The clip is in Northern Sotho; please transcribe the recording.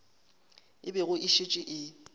e bego e šetše e